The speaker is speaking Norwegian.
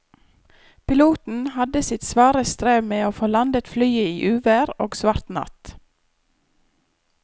Piloten hadde sitt svare strev med å få landet flyet i uvær og svart natt.